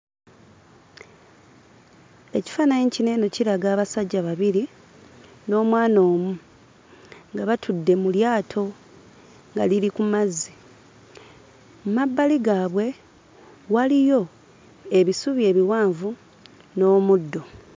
Ekifaananyi kino eno kiraga abasajja babiri n'omwana omu. Nga batudde mu lyato nga liri ku mazzi. Mmabbali gaabwe waliyo ebisubi ebiwanvu n'omuddo.